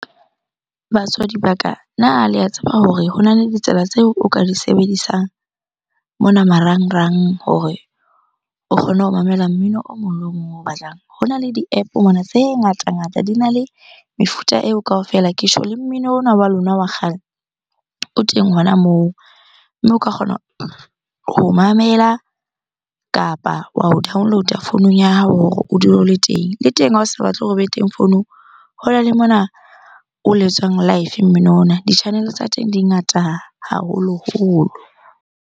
Batswadi ba ka, na le a tseba hore hona le ditsela tseo o ka di sebedisang mona marangrang hore o kgone ho mamela mmino o mong le o mong o batlang? Hona le di-App-o mona tse ngata-ngata, dina le mefuta eo kaofela. Ke tjho le mmino ona wa lona wa kgale o teng hona moo. Mme o ka kgona ho mamela kapa wa o download-a founung ya hao hore o dule o le teng. Le teng ha o sa batle hore obe teng founung, hona le mona o letswang life mmino ona. Di-channel-e tsa teng di ngata haholoholo.